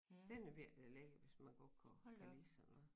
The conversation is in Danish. Den er virkelig lækker hvis man godt kunne kan lide sådan noget